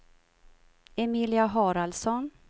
Emilia Haraldsson